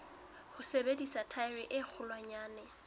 ho sebedisa thaere e kgolwanyane